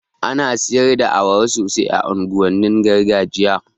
Ana siyar da awara sosai a unguwannin gargajiya